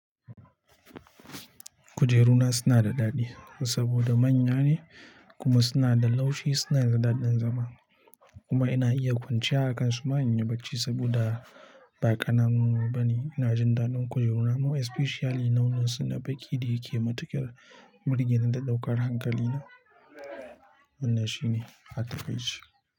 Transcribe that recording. Kujeru na suna da daɗi saboda manya ne kuma suna da laushi, suna da daɗin zama. Kuma ina iya kwanciya a kansu manya bacci saboda ba ƙananu bane. Ina jin daɗin kujeru na ma especially launin suna baƙi da yake matuƙar burge ni da ɗaukar hankali na. Wanna shine a catfish.